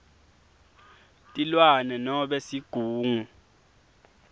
tilwane nobe sigungu